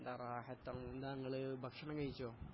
അല്ല റാഹത്തല്ല നിങ്ങള് ഭക്ഷണം കഴിച്ചോ